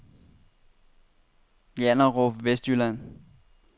Janderup Vestjylland